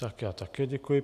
Tak já také děkuji.